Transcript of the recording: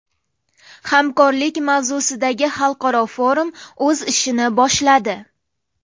Hamkorlik” mavzusidagi xalqaro forum o‘z ishini boshladi.